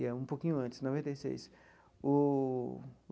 E é um pouquinho antes, noventa e seis o.